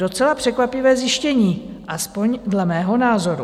Docela překvapivé zjištění, aspoň dle mého názoru.